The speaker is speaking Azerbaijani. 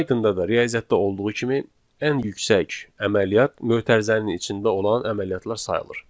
Pythonda da riyaziyyatda olduğu kimi ən yüksək əməliyyat mötərizənin içində olan əməliyyatlar sayılır.